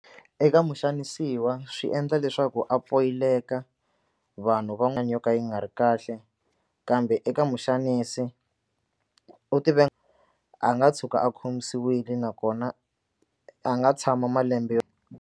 Eka muxanisiwa swi endla leswaku a poyileka vanhu yo ka yi nga ri kahle kambe eka muxanisi u a nga tshuka a khomiwile nakona a nga tshama malembe yo.